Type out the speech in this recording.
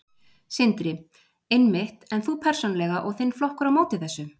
Sindri: Einmitt, en þú persónulega og þinn flokkur á móti þessu?